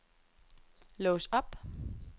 lås op